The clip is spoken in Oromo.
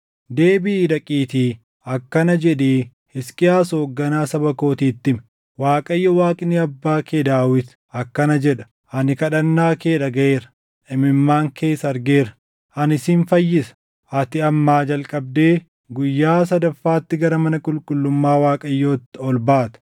“Deebiʼii dhaqiitii akkana jedhii Hisqiyaas hoogganaa saba kootiitti himi; ‘ Waaqayyo Waaqni abbaa kee Daawit akkana jedha: Ani kadhannaa kee dhagaʼeera; imimmaan kees argeera; ani sin fayyisa. Ati ammaa jalqabdee guyyaa sadaffaatti gara mana qulqullummaa Waaqayyootti ol baata.